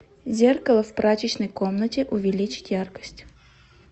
зеркало в прачечной комнате увеличить яркость